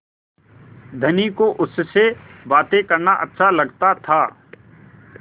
धनी को उससे बातें करना अच्छा लगता था